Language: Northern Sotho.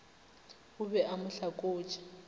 o be a mo hlakotše